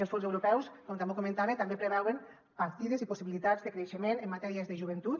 els fons europeus com també comentava també preveuen partides i possibilitats de creixement en matèries de joventut